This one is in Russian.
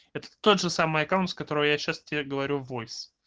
это тот же самый аккаунт с которой я сейчас тебе говорю войс